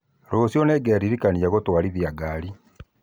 Rũciũ nĩngeririkania gũtwarithia ngari